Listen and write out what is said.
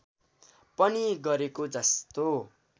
पनि गरेको जस्तो